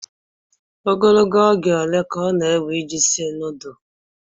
Ogologo oge ole ka ọ na-ewe iji sie nudulu?